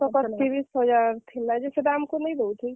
ବର୍ଷକ ତିରିଶ୍ ହଜାର୍ ଥିଲା ଯେ ସେଟା ଆମ୍ କୁ ନାଇଁ ଦଉଥାଇ।